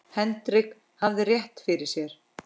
Henrik hafði rétt fyrir sér.